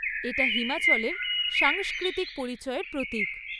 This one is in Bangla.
এটা হিমাচলের সাংস্কৃতিক পরিচয়ের প্রতীক।